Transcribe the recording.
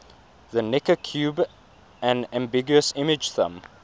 the necker cube an ambiguous image thumb